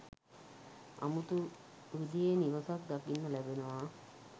අමුතු විදිහේ නිවසක් දකින්න ලැබෙනවා.